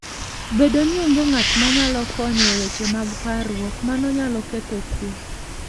Bedo ni onge ng'at manyalo konyo e weche mag parruok, mano nyalo ketho kuwe.